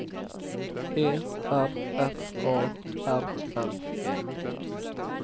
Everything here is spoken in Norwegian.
E R F A R N E